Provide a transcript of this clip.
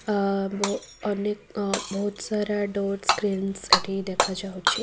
ଆ ବ ଅନେକ ବହୁତସାରା ଡୋର୍ ସ୍କ୍ରିନସ୍ ଏଠି ଦେଖାଯାଉଛି।